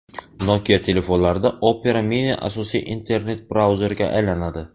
Nokia telefonlarida Opera Mini asosiy internet-brauzerga aylanadi.